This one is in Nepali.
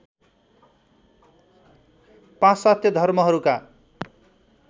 पाश्चात्य धर्महरूका